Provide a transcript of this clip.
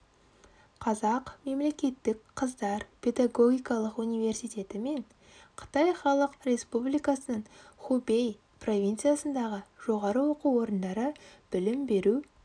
қазақ мемлекеттік қыздар педагогикалық университеті мен қытай халық республикасының хубэй провинциясындағы жоғары оқу орындары білім беру